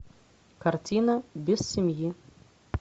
картина без семьи